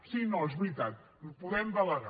sí no és veritat podem delegar